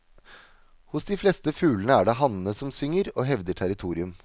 Hos de fleste fuglene er det hannene som synger og hevder territorium.